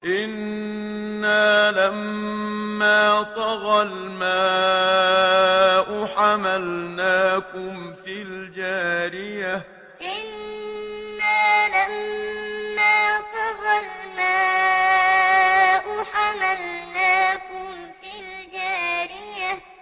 إِنَّا لَمَّا طَغَى الْمَاءُ حَمَلْنَاكُمْ فِي الْجَارِيَةِ إِنَّا لَمَّا طَغَى الْمَاءُ حَمَلْنَاكُمْ فِي الْجَارِيَةِ